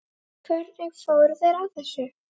Hvernig fóru þeir að þessu?